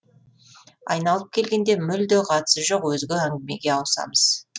айналып келгенде мүлде қатысы жоқ өзге әңгімеге ауысамыз